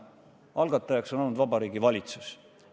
Algatajaks on olnud Vabariigi Valitsus.